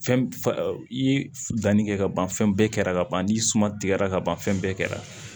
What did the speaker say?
Fɛn fa i ye danni kɛ ka ban fɛn bɛɛ kɛra ka ban n'i suma tigɛra ka ban fɛn bɛɛ kɛra